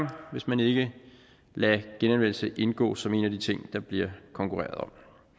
hvis man ikke lader genanvendelse indgå som en af de ting der bliver konkurreret om